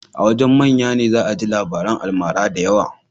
A wajen manya ne za a ji labarin almara da yawa